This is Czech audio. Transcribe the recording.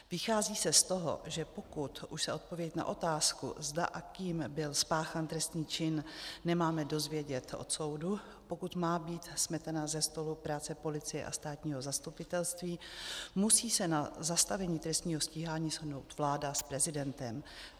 Vychází se z toho, že pokud už se odpověď na otázku, zda a kým byl spáchán trestný čin, nemáme dozvědět od soudu, pokud má být smetena se stolu práce policie a státního zastupitelství, musí se na zastavení trestního stíhání shodnout vláda s prezidentem.